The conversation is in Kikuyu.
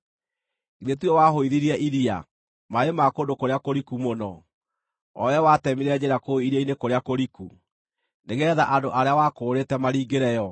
Githĩ tiwe wahũithirie iria, maaĩ ma kũndũ kũrĩa kũriku mũno, o wee watemire njĩra kũu iria-inĩ kũrĩa kũriku, nĩgeetha andũ arĩa wakũũrĩte maringĩre yo?